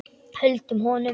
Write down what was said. Höldum honum!